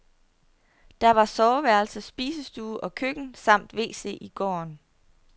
Der var soveværelse, spisestue og køkken samt wc i gården.